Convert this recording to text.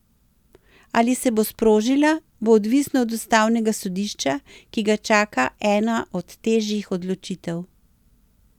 Ali se bo sprožila, bo odvisno od ustavnega sodišča, ki ga čaka ena od težjih odločitev.